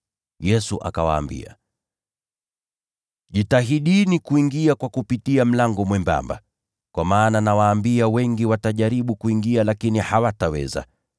Yesu akawaambia, “Jitahidini sana kuingia kupitia mlango mwembamba, kwa maana nawaambia wengi watajaribu kuingia, lakini hawataweza.